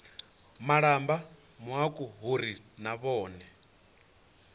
malamba mauku uri na vhone